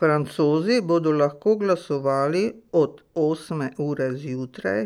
Francozi bodo lahko glasovali od osme ure zjutraj